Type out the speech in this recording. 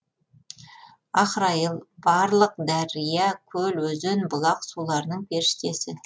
ахрайыл барлық дария көл өзен бұлақ суларының періштесі